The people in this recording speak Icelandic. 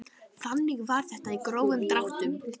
Þannig var þetta í grófum dráttum.